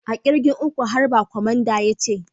A'kirgin uku, harba!! Kwamandan ya ce.